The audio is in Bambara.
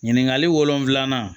Ɲininkali wolonfila